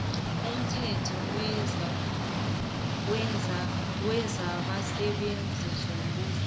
umthetho wezabasebenzi bombuso